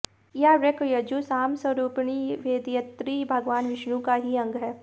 यह ऋक यजु साम स्वरूपपिणी वेदयत्री भगवान विष्णु का ही अंग है